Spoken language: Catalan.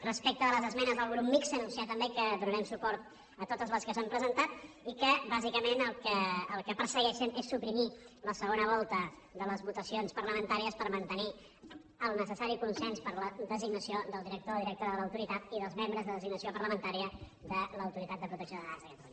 respecte de les esmenes del grup mixt anunciar també que donarem suport a totes les que s’han presentat i que bàsicament el que persegueixen és suprimir la segona volta de les votacions parlamentàries per mantenir el necessari consens per a la designació del director o directora de l’autoritat i dels membres de designació parlamentària de l’autoritat de protecció de dades de catalunya